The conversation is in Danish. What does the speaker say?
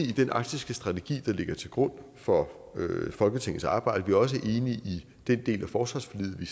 i den arktisstrategi der ligger til grund for folketingets arbejde vi er også enige i den del af forsvarsforliget vi